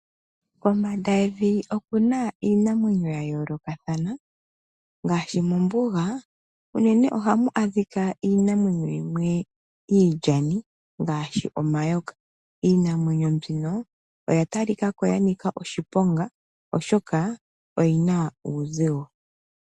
Kombanda yevi okuna iinamwenyo ya yoloka thana ,ngashi mombuga unene ohamu adhika iinamwenyo yimwe ilyani ngashi omayoka . Iinamwenyo mbino oya talikako ya nika oshiponga oshoka oyina uuzigwo.